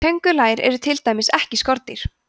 köngulær eru til dæmis ekki skordýr